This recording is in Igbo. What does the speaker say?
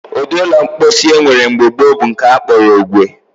Ụdị ụlọ mposi e nwere mgbe gboo bụ nke a kpọrọ ogwe